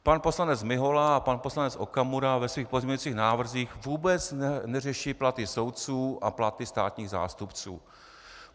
Pan poslanec Mihola a pan poslanec Okamura ve svých pozměňovacích návrzích vůbec neřeší platy soudců a platy státních zástupců.